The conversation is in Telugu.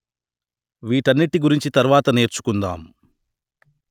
వీటన్నిటి గురించి తరువాత నేర్చుకుందాం